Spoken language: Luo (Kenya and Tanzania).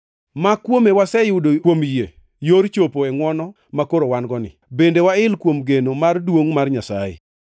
ma kuome waseyude kuom yie yor chopo e ngʼwono makoro wan-goni. Bende wail kuom geno mar duongʼ mar Nyasaye.